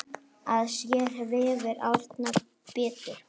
Að sér vefur Árna betur